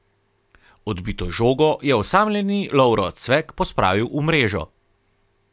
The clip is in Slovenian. Odbito žogo je osamljeni Lovro Cvek pospravil v mrežo.